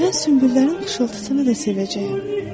Mən sümbüllərin xışıltısını da sevəcəyəm.